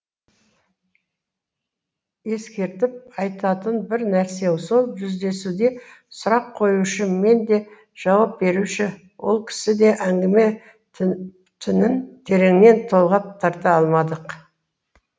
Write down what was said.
ескертіп айтатын бір нәрсе сол жүздесуде сұрақ қоюшы мен де жауап беруші ол кісі де әңгіме тінін тереңнен толғап тарта алмадық